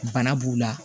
Bana b'u la